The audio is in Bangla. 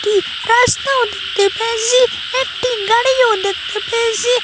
গাসটাও দেখতে পেয়েসি একটি গাড়িও দেখতে পেয়েসি।